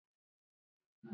Ekki orð að marka.